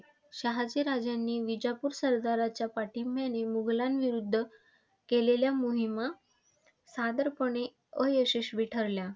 शहाजी राजांनी विजापूर सरदारांच्या पाठिंब्याने मुघलांविरुद्ध केलेल्या मोहीमा साधारणपणे अयशस्वी ठरल्या.